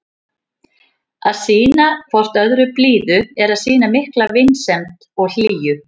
Að sýna hvort öðru blíðu er að sýna mikla vinsemd og hlýju.